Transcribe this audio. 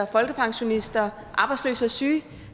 folkepensionister arbejdsløse og syge